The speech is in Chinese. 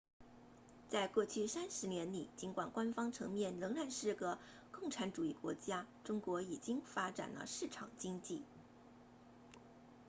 在过去三十年里尽管官方层面仍然是个共产主义国家中国已经发展了市场经济